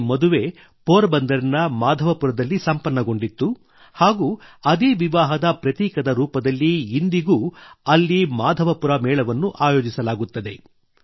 ಈ ಮದುವೆ ಪೋರಬಂದರಿನ ಮಾಧವಪುರದಲ್ಲಿ ಸಂಪನ್ನಗೊಂಡಿತ್ತು ಹಾಗೂ ಅದೇ ವಿವಾಹದ ಪ್ರತೀಕದ ರೂಪದಲ್ಲಿ ಇಂದಿಗೂ ಅಲ್ಲಿ ಮಾಧವಪುರ ಮೇಳವನ್ನು ಆಯೋಜಿಸಲಾಗುತ್ತದೆ